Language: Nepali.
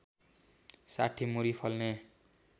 ६० मुरी फल्ने